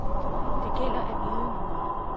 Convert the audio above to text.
Det gælder at vide noget.